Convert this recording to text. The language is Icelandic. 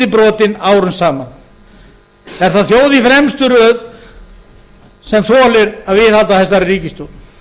brotin árum saman er það þjóð í fremstu röð sem þolir að viðhalda þessari ríkisstjórn